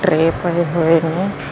ਟਰੇ ਪਏ ਹੋਏ ਨੇ।